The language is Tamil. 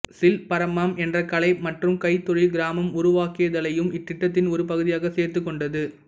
சில்பரமம் என்ற கலை மற்றும் கைத்தொழில் கிராமம் உருவாக்குதலையும் இத்திட்டத்தின் ஒரு பகுதியாக சேர்த்துக் கொண்டது